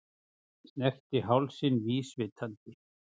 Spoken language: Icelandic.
Snerti hálsinn vísvitandi.